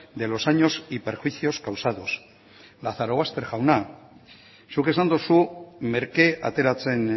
de los años y perjuicios causados lazarobaster jauna zuk esan duzu merke ateratzen